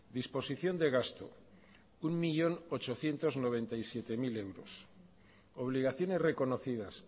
disposición de gasto un millón ochocientos noventa y siete mil euros obligaciones reconocidas